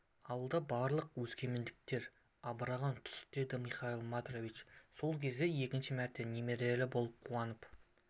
алды барлық өскемендіктер абдыраған тұс еді михаил матвеевич сол кезде екінші мәрте немерелі болып қуанып